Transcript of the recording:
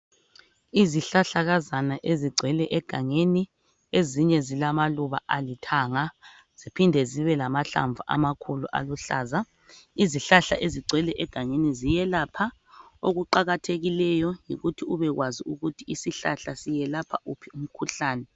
Izihlahlakazana ezingcwele egangeni ezinye zilombala olithanga ziphinde zibelahlamvu amakhulu aluhlaza izihlahla ezingcwele egangeni ziyelapha okuqakathekileyo yikuthi ubekwazi ukuthi isihlahla siyelapha wuphi umkhuhlane